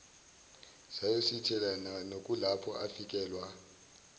sayosithela nokuyilapho afikelwa